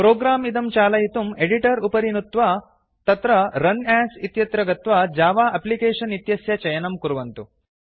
program इदं चालयितुं editor उपरि नुत्त्वा तत्र रुन् अस् इत्यत्र गत्वा जव एप्लिकेशन इत्यस्य चयनं कुर्वन्तु